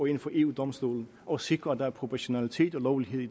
ind for eu domstolen og sikre at der er proportionalitet og lovlighed i